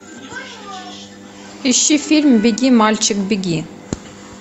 ищи фильм беги мальчик беги